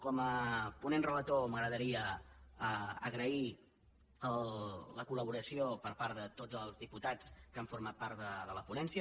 com a ponent relator m’agradaria agrair la colració per part de tots els diputats que han format part de la ponència